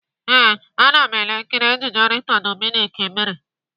Ee, ana m ele nkiri ejije Rita Dominic mere.